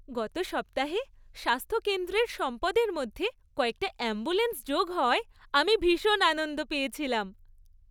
গত সপ্তাহে স্বাস্থ্যকেন্দ্রের সম্পদের মধ্যে কয়েকটা অ্যাম্বুলেন্স যোগ হওয়ায় আমি ভীষণ আনন্দ পেয়েছিলাম।